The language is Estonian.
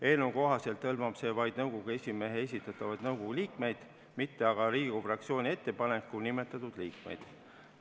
Eelnõu kohaselt hõlmab see vaid nõukogu esimehe esitatavaid nõukogu liikmeid, mitte aga Riigikogu fraktsiooni ettepanekul nimetatud liikmeid.